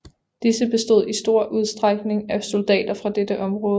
Disse bestod i stor udstrækning af soldater fra dette område